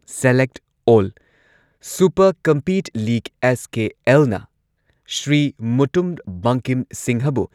Select all super compete league SKL. ꯅ ꯁ꯭ꯔꯤ ꯃꯨꯇꯨꯝ ꯕꯪꯀꯤꯝ ꯁꯤꯡꯍꯕꯨ